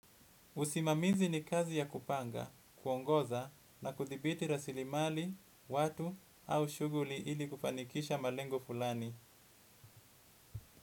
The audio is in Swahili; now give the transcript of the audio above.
Usimamizi ni kazi ya kupanga, kuongoza na kuthibiti rasilimali, watu au shuguli ili kufanikisha malengo fulani.